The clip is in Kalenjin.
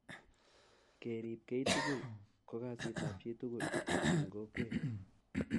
kerip kei tugul ko kasit ab chi tugul eng kokwet